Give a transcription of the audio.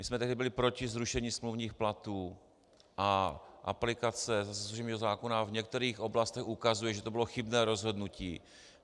My jsme tehdy byli proti zrušení smluvních platů, a aplikace služebního zákona v některých oblastech ukazuje, že to bylo chybné rozhodnutí.